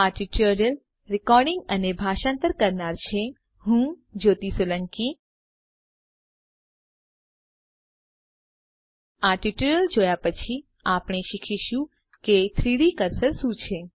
આ ટ્યુટોરીયલ જોયા પછીઆપણે શીખીશું કે 3ડી કર્સર શું છે